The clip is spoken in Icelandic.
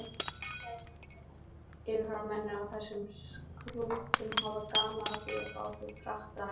Yfirmennirnir á þessum skútum höfðu gaman af því að fá okkur krakkana um borð.